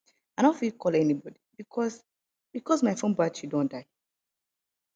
i no fit call anybodi because because my fone battery don die